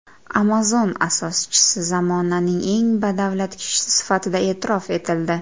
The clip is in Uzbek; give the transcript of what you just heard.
Amazon asoschisi zamonaning eng badavlat kishisi sifatida e’tirof etildi.